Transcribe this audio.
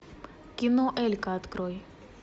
кино элька открой